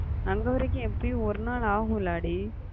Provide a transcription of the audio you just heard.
அங்க வரைக்கும் எப்பிடியும் ஒரு நாள் ஆகும் இல்லடி